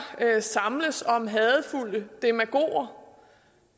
samles om hadefulde demagoger